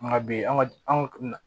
An ka bi an ka an ka